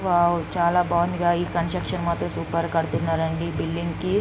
Wow చాలా బాగుంది గా. ఈ కన్స్ట్రక్షన్ మాత్రం సూపర్ కడుతున్న రండి ఈ బిల్డింగ్ కి .